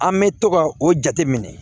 An bɛ to ka o jate minɛ